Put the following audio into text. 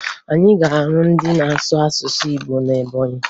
Anyị ga-ahụ ndị na-asụ asụsụ Igbo na Ebọnyị